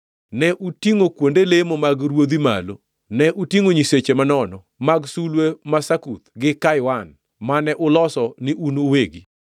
Ne utingʼo kuonde lemo mag ruodhu malo, ne utingʼo nyiseche manono, mag sulwe ma Sakuth gi Kaiwan, mane uloso ni un uwegi,